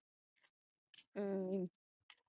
ਹੂ